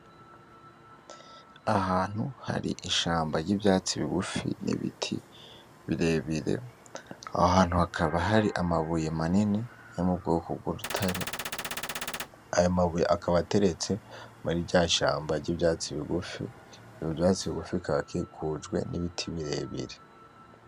Aho hantu hari ishamba ry'ivyatsi bigufi n'ibiti birebire, aho hantu hakaba hari amabuye manini yo mu bwoko bw'urutare. Ayo mabuye akaba ateretse muri rya shamba ry'ivyatsi bigufi, ivyo vyatsi bigufi bikaba bikikujwe n'ibiti birebire.